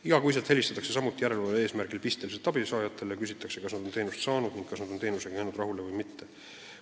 Iga kuu helistatakse samuti järelevalve eesmärgil pisteliselt abisaajatele, küsitakse, kas nad on teenust saanud ning kas nad on jäänud rahule või mitte.